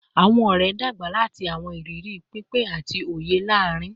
Awọn ọrẹ n dagba lati awọn iriri pinpin ati oye laarin